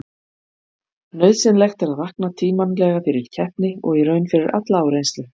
Nauðsynlegt er að vakna tímanlega fyrir keppni og í raun fyrir alla áreynslu.